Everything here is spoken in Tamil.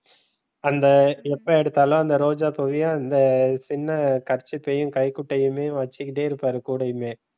அந் எப்ப எடுத்தாலும் அந்த ரோஜா பூவையும் அந்த சின்ன kerchief கைக்குட்டையும் வச்சுக்கிட்டே இருப்பாரு கூடையுமே,